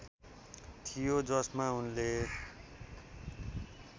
थियो जसमा उनले